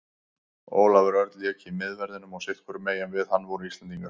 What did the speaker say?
Ólafur Örn lék í miðverðinum og sitthvorum megin við hann voru Íslendingar.